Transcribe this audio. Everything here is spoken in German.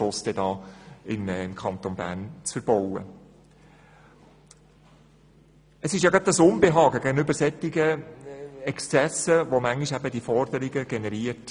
Es ist gerade das Unbehagen gegenüber solchen Exzessen, das manchmal im Grossen Rat solche Forderungen generiert.